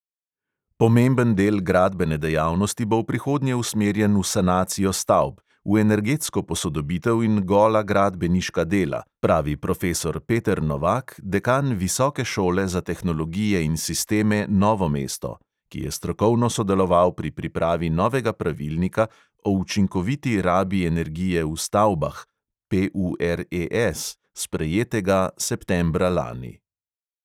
Pomemben del gradbene dejavnosti bo v prihodnje usmerjen v sanacijo stavb; v energetsko posodobitev in gola gradbeniška dela, pravi profesor peter novak, dekan visoke šole za tehnologije in sisteme novo mesto, ki je strokovno sodeloval pri pripravi novega pravilnika o učinkoviti rabi energije v stavbah sprejetega septembra lani.